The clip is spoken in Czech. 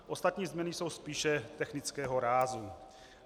Ostatní změny jsou spíše technického rázu.